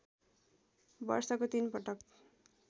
वर्षको ३ पटक